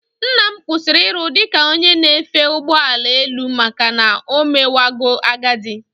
Nnam kwụsịrị iru dị ka onye na-efe ụgbọ elu maka na omewago agadi